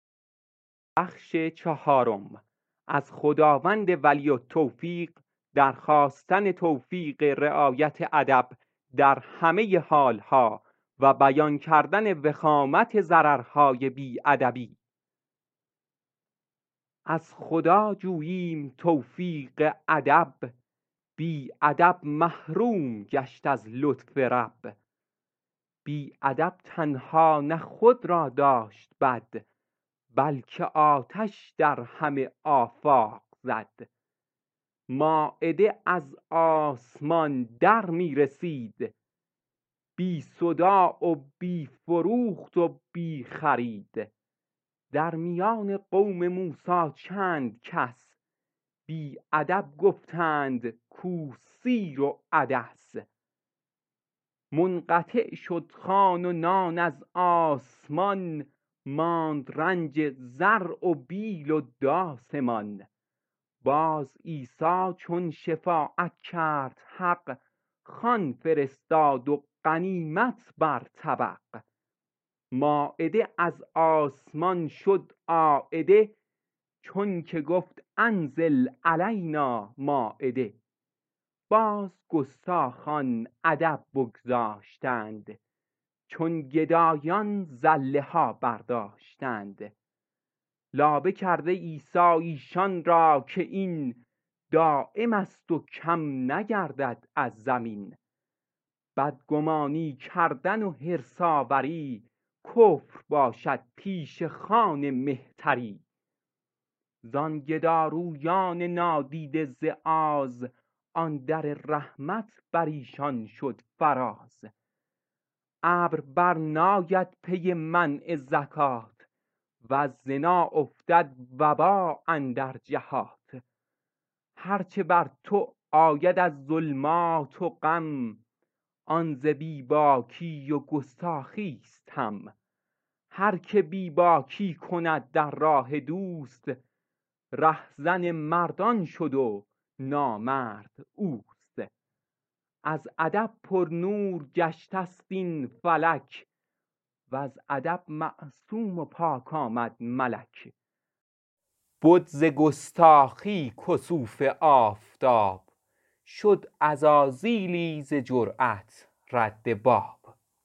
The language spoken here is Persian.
از خدا جوییم توفیق ادب بی ادب محروم گشت از لطف رب بی ادب تنها نه خود را داشت بد بلکه آتش در همه آفاق زد مایده از آسمان در می رسید بی شری و بیع و بی گفت و شنید در میان قوم موسی چند کس بی ادب گفتند کو سیر و عدس منقطع شد خوان و نان از آسمان ماند رنج زرع و بیل و داس مان باز عیسی چون شفاعت کرد حق خوان فرستاد و غنیمت بر طبق مایده از آسمان شد عایده چون که گفت انزل علینا مایده باز گستاخان ادب بگذاشتند چون گدایان زله ها برداشتند لابه کرده عیسی ایشان را که این دایمست و کم نگردد از زمین بدگمانی کردن و حرص آوری کفر باشد پیش خوان مهتری زان گدارویان نادیده ز آز آن در رحمت بریشان شد فراز ابر بر ناید پی منع زکات وز زنا افتد وبا اندر جهات هر چه بر تو آید از ظلمات و غم آن ز بی باکی و گستاخیست هم هر که بی باکی کند در راه دوست ره زن مردان شد و نامرد اوست از ادب پرنور گشته ست این فلک وز ادب معصوم و پاک آمد ملک بد ز گستاخی کسوف آفتاب شد عزازیلی ز جرات رد باب